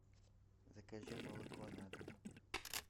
закажи молоко на дом